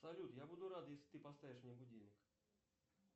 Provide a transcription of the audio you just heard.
салют я буду рад если ты поставишь мне будильник